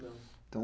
Não, então